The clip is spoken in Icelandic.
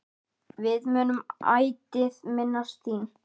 Við munum ætíð minnast þín.